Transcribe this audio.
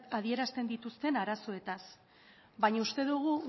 adierazten dituzten arazoetaz baina uste dugu